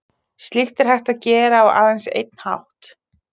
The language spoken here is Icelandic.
Slíkt er hægt að gera á aðeins einn hátt.